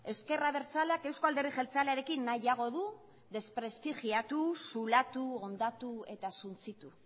ezker abertzaleak euzko alderdi jeltzalearekin nahiago du desprestigiatu zulatu hondatu eta suntsitu